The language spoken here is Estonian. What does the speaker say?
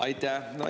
Aitäh!